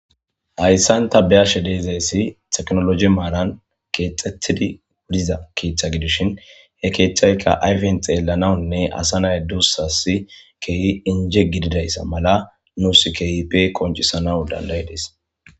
hayssanta be7ashe de7izayssi teknoloji maaran keexettidi wudiza kiiththa gidishin he keeththayka ayfen xeellanawunne asa nay duussasi kehi inje gididayssa mala nuus kehipe qoncisanaw dandayidees.